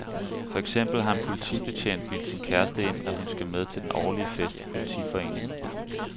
For eksempel har en politibetjent bildt sin kæreste ind, at hun skal med til den årlige fest i politiforeningen.